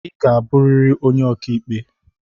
I ga abụrịrị onye okiikpe!